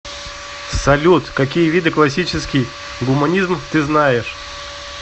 салют какие виды классический гуманизм ты знаешь